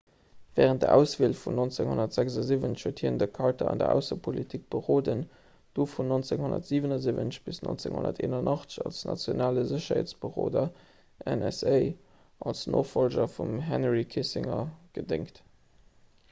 wärend der auswiel vun 1976 huet hien de carter an der aussepolitik beroden du vun 1977 bis 1981 als nationale sécherheetsberoder nsa als nofollger vum henry kissinger gedéngt